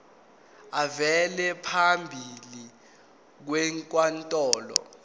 avele phambi kwenkantolo